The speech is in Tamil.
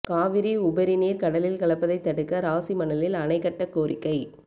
காவிரி உபரி நீா் கடலில் கலப்பதை தடுக்க ராசிமணலில் அணை கட்டக் கோரிக்கை